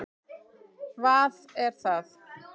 vað er það?